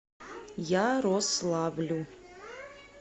ярославлю